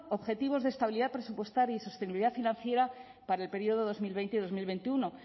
objetivos de estabilidad presupuestaria y sostenibilidad financiera para el periodo dos mil veinte y dos mil veintiuno